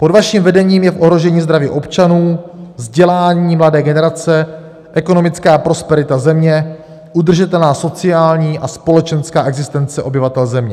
Pod vaším vedením je v ohrožení zdraví občanů, vzdělání mladé generace, ekonomická prosperita země, udržitelná sociální a společenská existence obyvatel země.